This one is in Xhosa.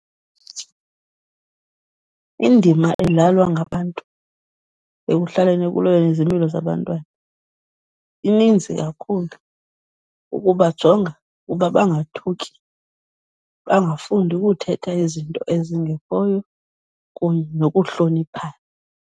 Indima edlalwa ngabantu ekuhlaleni ekulweni izimilo zabantwana ininzi kakhulu. Ukubajonga uba bangathuki, bangafundi ukuthetha izinto ezingekhoyo kunye nokuhloniphana.